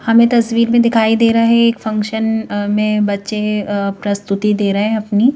हमें तस्वीर में दिखाई दे रहा है एक फंक्शन अ में बच्चे अ प्रस्तुति दे रहे हैं अपनी।